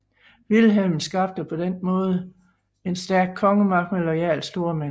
Vilhelm skabte på denne måde en stærk kongemagt med loyale stormænd